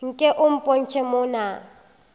nke o mpotše mo na